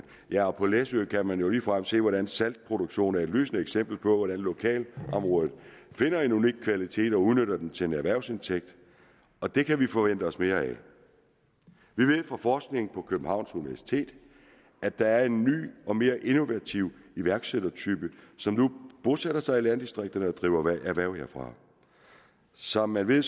ja og på læsø kan man jo ligefrem se hvordan saltproduktion er et lysende eksempel på hvordan lokalområdet finder en unik kvalitet og udnytter den til en erhvervsindtægt og det kan vi forvente os mere af vi ved fra forskning på københavns universitet at der er en ny og mere innovativ iværksættertype som nu bosætter sig i landdistrikterne og driver erhverv derfra som man ved